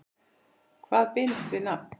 Hvað binst við nafn?